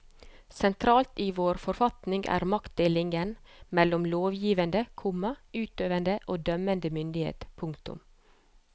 Sentralt i vår forfatning er maktdelingen mellom lovgivende, komma utøvende og dømmende myndighet. punktum